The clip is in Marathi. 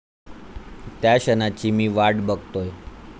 त्या क्षणाची मी वाट बघतोय.